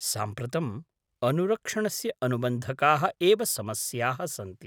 साम्प्रतम् अनुरक्षणस्य अनुबन्धकाः एव समस्याः सन्ति।